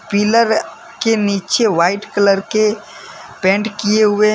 pillar के नीचे white colour के पेंट किए हुए --